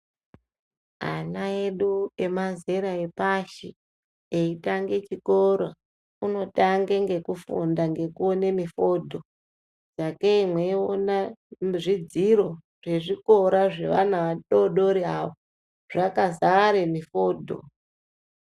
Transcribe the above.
Ana edu emazera epashi eitange chikoro unotange ngekufunda ngekuone mufoto sagei mweiona mizvidziro zvezvikora zveana adodori avo zvakazare mifoto.